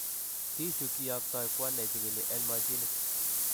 Tissue kiyoktoo kwo ne chikili en masinit.